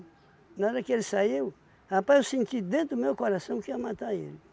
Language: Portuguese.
Na hora que ele saiu, rapaz, eu senti dentro do meu coração que ia matar ele.